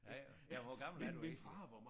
Ja ja hvor gammel er du egentlig?